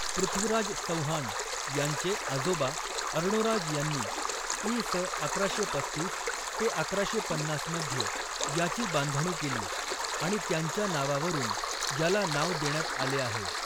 पृथ्वीराज चौहान यांचे आजोबा अर्णोराज यांनी इ.स. अकराशे पस्तीस ते अकराशे पन्नास मध्ये याची बांधणी केली आणि त्यांच्या नावावरून याला नाव देण्यात आले आहे.